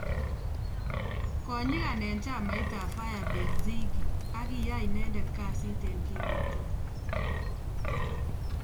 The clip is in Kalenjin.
Ko nyigan eng chamait ap Firebase ziggy ak kiyai inendet kasiit eng kimnateet